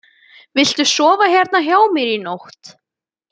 Viltu sofa hérna hjá mér í nótt?